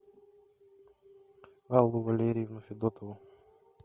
аллу валерьевну федотову